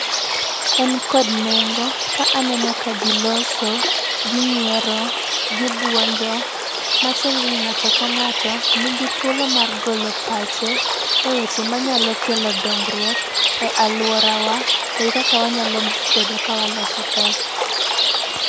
En kod neng'o ka aneno ka ji loso gi nyiero gi bwonjo, matiende ni ng'ato ka ng'ato nigi thuolo mar golo pache eweche manyalo kelo dongruok e aluorawa to kaka wanyalo bedo ka waloso pesa.